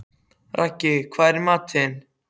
Raggi, hvað er í matinn?